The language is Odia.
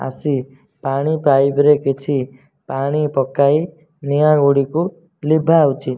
ଆସି ପାଣି ପାଇପ ରେ କିଛି ପାଣି ପକାଇ ନିଆଁ ଗୁଡିକୁ ଲିଭାଉଛି।